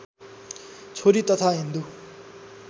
छोरी तथा हिन्दू